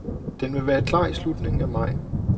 Den vil være klar i slutningen af maj.